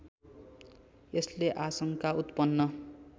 यसले आशंका उत्पन्न